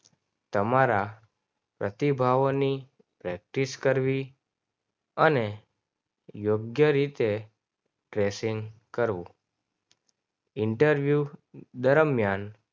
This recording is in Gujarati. તમારા પ્રતિભાવોની પ્રેક્ટિસ કરવી. અને યોગ્ય રીતે પસંદ કરવો. ઇન્ટરવ્યૂ દરમિયાન